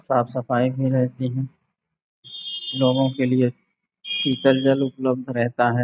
साफ़ साफ़ भी रहती है। लोगों के लिए शीतल जल उपलब्ध रहता है।